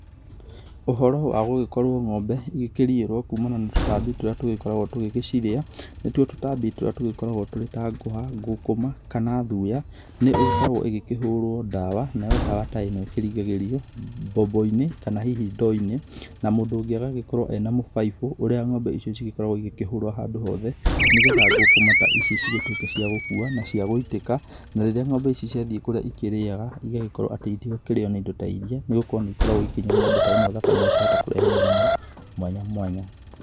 Ũhoro wa gũkorwo ng'ombe igĩkĩriĩrwo kumana na tũtambi tũria tũgĩkoragwo tũgĩcirĩa, nĩ tũo tũtambi tũrĩa tũgĩkoragwo twĩ ta ngũha, ngũkũma kana thuya. Nĩ ĩgĩkoragwo ĩkĩhũrwo ndawa nayo ndawa ta ĩno ĩkĩringagĩrio mbombo-inĩ kana hihi ndoo-inĩ. Na mũndũ ũngĩ agagĩkorwo ena mũbaibũ ũrĩa ng'ombe icio cigĩkoragwo igĩkĩhũrwo handũ hothe. Nĩ getha ngũkũma ta ici cigĩtuĩke cia gũkua nacia gũitĩka, na rĩrĩa ng'ombe ici ciagĩthiĩ kũrĩa ikĩrĩaga. Igagĩkorwo ati iti nakĩrĩo nĩ indo ta iria nĩ gũkorwo nĩ ikoragwo ikĩnyua ng'ombe ta ĩno thakame na ciahota kũrehe mĩrimũ mwanya mwanya.